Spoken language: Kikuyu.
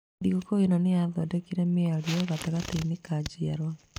Thigũkũ ĩno nĩ yathondekire mĩario gatagatĩ ka njiarũa.